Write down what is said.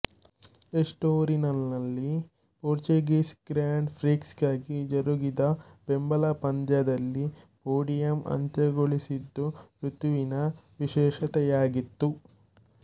ಎಸ್ಟೋರಿಲ್ನಲ್ಲಿ Portuguese grand ಪ್ರಿಕ್ಸ್ಗಾಗಿ ಜರುಗಿದ ಬೆಂಬಲ ಪಂದ್ಯಾಟದಲ್ಲಿ ಪೋಡಿಯಂ ಅಂತ್ಯಗೊಳಿಸಿದ್ದು ಋತುವಿನ ವಿಶೇಷತೆಯಾಗಿತ್ತು